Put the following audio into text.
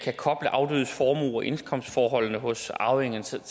koble afdødes formuer og indkomstforholdene hos arvingerne så